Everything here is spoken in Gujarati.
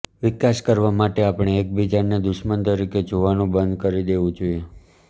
વિકાસ કરવા માટે આપણે એકબીજાને દુશ્મન તરીકે જોવાનું બંધ કરી દેવું જોઇએ